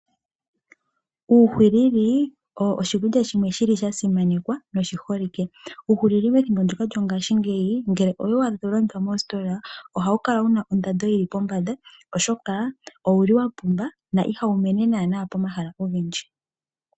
Uuhwilili owo oshimeno shimwe shasimanekwa noshiholike. Uuhwilili methimbo lyongaashingeyi ngele owe waadha tawu landithwa moositola, ohawu kala wuna ondando onshona oshoka owuli wapumba, na ihawu mene pomahala ogendji.